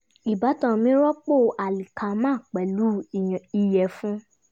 ìbátan mi rọpò alíkámà pẹ̀lú ìyẹ̀fun